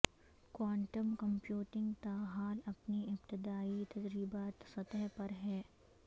quantum computing تاحال اپنی ابتدائی تجرباتی سطح پر ہے